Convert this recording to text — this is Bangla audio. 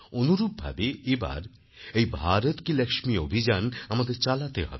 অনুরূপভাবে এবার এই ভারত কি Laxmiঅভিযান আমাদের চালাতে হবে